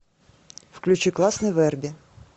включи классный вэрби